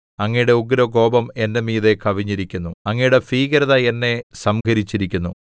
അങ്ങയുടെ ഉഗ്രകോപം എന്റെ മീതെ കവിഞ്ഞിരിക്കുന്നു അങ്ങയുടെ ഭീകരത എന്നെ സംഹരിച്ചിരിക്കുന്നു